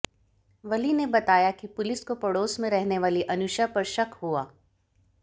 वली ने बताया कि पुलिस को पड़ोस में रहने वाली अनुषा पर शक हुआ